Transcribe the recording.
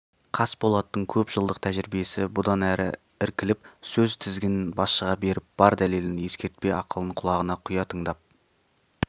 қасболаттың көп жылдық тәжірибесі бұдан әрі іркіліп сөз тізгінін басшыға беріп бар дәлелін ескертпе ақылын құлағына құя тыңдап